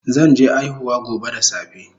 Zan je aihuwa gobe da safe